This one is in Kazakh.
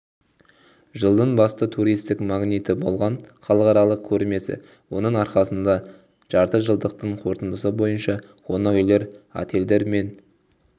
жылдың басты туристік магниті болған халықаралық көрмесі оның арқасында жартыжылдықтың қорытындысы бойынша қонақ үйлер отельдер мен